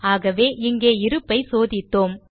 ஆகவே இங்கே இருப்பை சோதித்தோம்